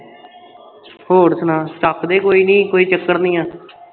ਹੋਰ ਸੁਣਾ ਚੱਕ ਦੇ ਕੋਈ ਨਹੀਂ ਕੋਈ ਚੱਕਰ ਨਹੀਂ ਹੈ